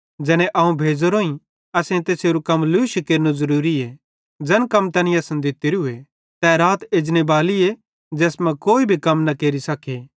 ज़ैने अवं भेज़ोरोईं असेईं तैसेरू कम लूशी केरनू ज़रूरीए ज़ैन कम तैनी असन दित्तोरूए तै रात एजने बालीए ज़ैस मां कोई भी कम न केरि सके